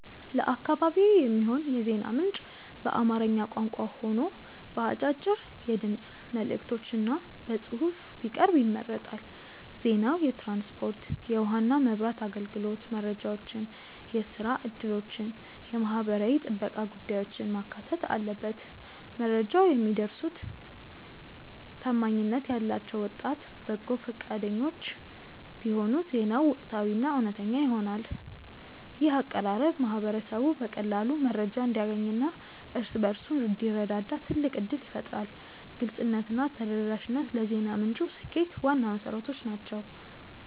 ለአካባቢዬ የሚሆን የዜና ምንጭ በአማርኛ ቋንቋ ሆኖ በአጫጭር የድምፅ መልዕክቶችና በጽሑፍ ቢቀርብ ይመረጣል። ዜናው የትራንስፖርት፣ የውኃና መብራት አገልግሎት መረጃዎችን፣ የሥራ ዕድሎችንና የማኅበራዊ ጥበቃ ጉዳዮችን ማካተት አለበት። መረጃውን የሚያደርሱት ታማኝነት ያላቸው ወጣት በጎ ፈቃደኞች ቢሆኑ ዜናው ወቅታዊና እውነተኛ ይሆናል። ይህ አቀራረብ ማኅበረሰቡ በቀላሉ መረጃ እንዲያገኝና እርስ በርሱ እንዲረዳዳ ትልቅ ዕድል ይፈጥራል። ግልጽነትና ተደራሽነት ለዜና ምንጩ ስኬት ዋና መሠረቶች ናቸው።